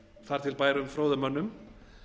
þar til bærum fróðum mönnum